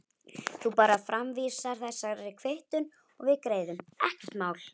Þú bara framvísar þessari kvittun og við greiðum, ekkert mál.